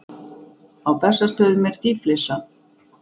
Á Bessastöðum er dýflissa.